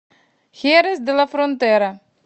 херес де ла фронтера